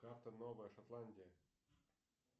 карта новая шотландия